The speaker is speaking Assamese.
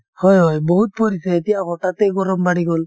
হয় হয় বহুত পৰিছে , এতিয়া হঠাতে গৰম বাঢ়ি গল।